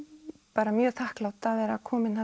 bara mjög þakklát að vera komin